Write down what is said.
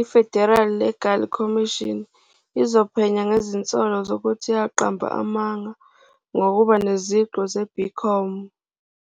i-Federal Legal Commission izophenya ngezinsolo zokuthi yaqamba amanga ngokuba neziqu ze-BCom.